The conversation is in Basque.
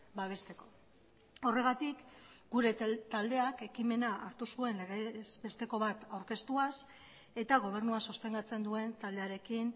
babesteko horregatik gure taldeak ekimena hartu zuen legez besteko bat aurkeztuaz eta gobernua sostengatzen duen taldearekin